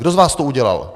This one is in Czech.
Kdo z vás to udělal?